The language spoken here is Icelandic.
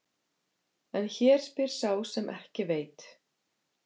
En hér spyr sá sem ekki veit.